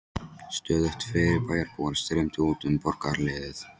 Stöðugt fleiri bæjarbúar streymdu út um borgarhliðið.